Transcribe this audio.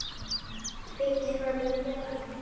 Beggja handa járn.